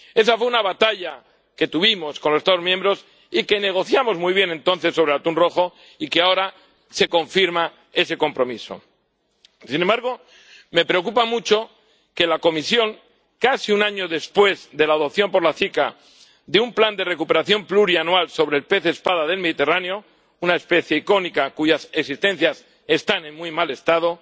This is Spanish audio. Esa fue una batalla que tuvimos con los Estados miembros y que negociamos muy bien entonces para el atún rojo, y ahora se confirma ese compromiso. Sin embargo, me preocupa mucho que la Comisión, casi un año después de la adopción por la CICAA de un plan de recuperación plurianual sobre el pez espada del Mediterráneo —una especie icónica cuyas existencias están en muy mal estado—,